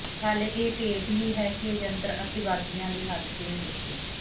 ਹਾਲੇ ਇਹ ਭੇਤ ਹੀ ਹੈ ਕਿ ਇਹ ਯੰਤਰ ਅਤਿਵਾਦੀਆਂ ਦੇ ਹੱਥ ਕਿਵੇਂ ਪੁੱਜੇ